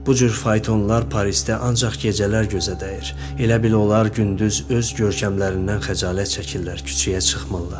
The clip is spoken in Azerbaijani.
Bu cür faytonlar Parisdə ancaq gecələr gözə dəyir, elə bil onlar gündüz öz görkəmlərindən xəcalət çəkirlər, küçəyə çıxmırlar.